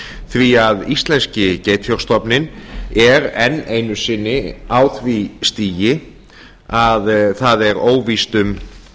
því að íslenski geitfjárstofninn er enn einu sinni á því stigi að það er óvíst um